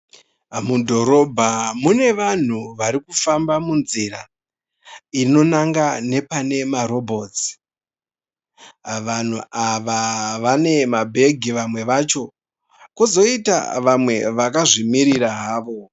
Mudhorobha mune vanhu varikufamba munzira, inonanga nepane marobhotsi. Vangu ava vane mabhegi vamwe vacho, pozoita vakazvimirira havo.